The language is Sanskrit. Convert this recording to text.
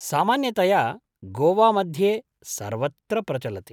सामान्यतया गोवामध्ये सर्वत्र प्रचलति।